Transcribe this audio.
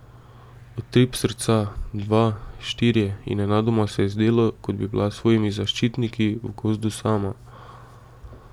Utrip srca, dva, štirje, in nenadoma se je zdelo, kot bi bila s svojimi zaščitniki v gozdu sama.